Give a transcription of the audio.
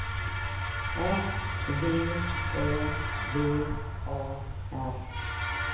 S V Ä V A R